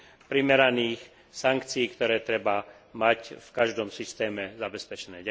primeraných sankcií, ktoré treba mať v každom systéme zabezpečené.